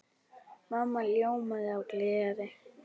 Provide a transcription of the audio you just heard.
Mamma ljómaði af gleði.